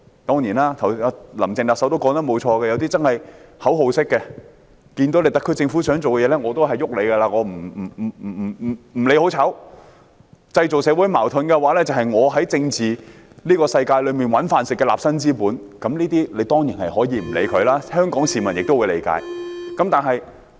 當然，"林鄭"特首也沒有錯，有些人真的是口號式反對，對於特區政府想做的事，不理好壞也會反對，因為製造社會矛盾便是他們在政治世界的立身之本，這些人當然可以不予理會，香港市民亦會理解。